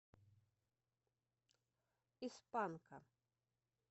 из панка